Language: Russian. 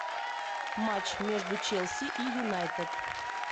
матч между челси и юнайтед